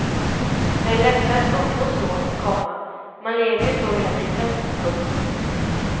Det är lättare att umgås så, komma man lever ju så hela livet. punkt